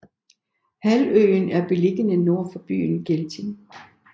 Halvøen er beliggende nord for byen Gelting